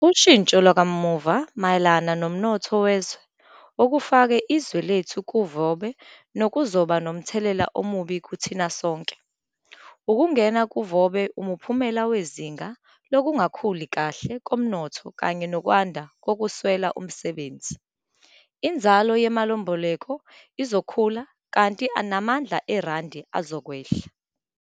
Ushintso lwakamuva mayelana nomnotho wezwe okufake izwe lethu kuvobe nokuzokuba nomthelela omubi kithina sonke. Ukungena kuvobe umphumela wezinga lokungakhuli kahle komnotho kanye nokwanda kokweswela umsebenzi. Inzalo yemalimboleko izokhula kanti amandla eRandi azokwehla.